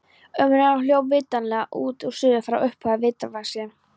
Umræðan hljóp vitanlega út og suður frá upphaflegu viðfangsefni.